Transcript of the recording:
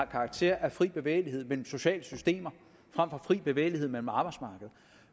karakter af fri bevægelighed mellem sociale systemer frem for fri bevægelighed mellem arbejdsmarkeder